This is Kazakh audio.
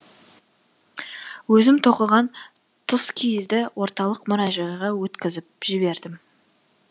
өзім тоқыған тұскиізді орталық мұражайға өткізіп жібердім